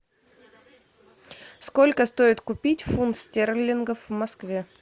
сколько стоит купить фунт стерлингов в москве